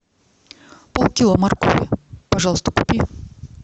полкило моркови пожалуйста купи